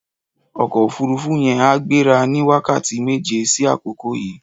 Ọkọ ófùrùfù yèn á gbérà ni wàkátí méjé si àkókó yi